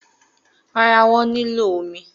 Rárá, wọ́n nílò omi.